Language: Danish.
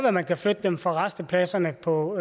at man kan flytte dem fra rastepladserne på